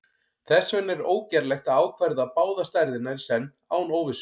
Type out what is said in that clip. þess vegna er ógerlegt að ákvarða báðar stærðirnar í senn án óvissu